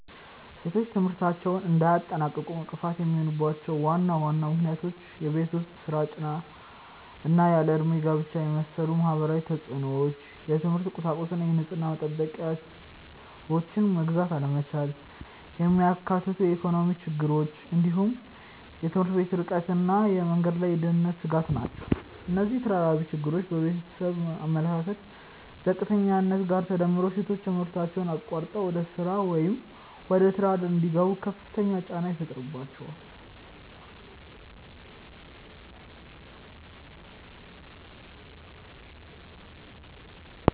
ሴቶች ትምህርታቸውን እንዳያጠናቅቁ እንቅፋት የሚሆኑባቸው ዋና ዋና ምክንያቶች የቤት ውስጥ ሥራ ጫና እና ያለ ዕድሜ ጋብቻን የመሰሉ ማህበራዊ ተፅዕኖዎች፣ የትምህርት ቁሳቁስና የንጽህና መጠበቂያዎችን መግዛት አለመቻልን የሚያካትቱ ኢኮኖሚያዊ ችግሮች፣ እንዲሁም የትምህርት ቤቶች ርቀትና የመንገድ ላይ የደህንነት ስጋት ናቸው። እነዚህ ተደራራቢ ችግሮች ከቤተሰብ አመለካከት ዝቅተኛነት ጋር ተዳምረው ሴቶች ትምህርታቸውን አቋርጠው ወደ ሥራ ወይም ወደ ትዳር እንዲገቡ ከፍተኛ ጫና ይፈጥሩባቸዋል።